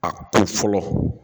A kun fɔlɔ